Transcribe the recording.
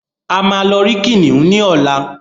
a má ló rí kìnìún ní ọlá